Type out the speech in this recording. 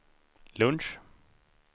lunch